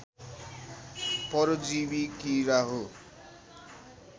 परजीवि किरा हो